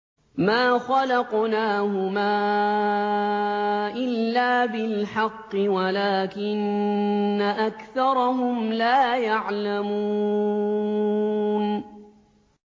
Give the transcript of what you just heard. مَا خَلَقْنَاهُمَا إِلَّا بِالْحَقِّ وَلَٰكِنَّ أَكْثَرَهُمْ لَا يَعْلَمُونَ